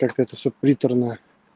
как это всё приторно